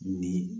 Ni